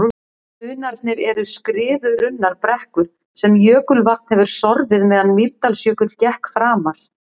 Hrunarnir eru skriðurunnar brekkur sem jökulvatn hefur sorfið meðan Mýrdalsjökull gekk framar.